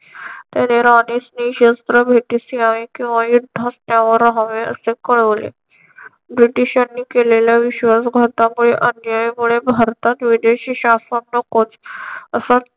त्याने राणीस क्षिशस्त्र भेटीस यावे किंवा युद्धास त्यावर हवे असे कळवले. ब्रिटिशांनी केलेल्या विश्वास घातामुळे अन्यायामुळे भारतात विदेशी शासन नकोच असं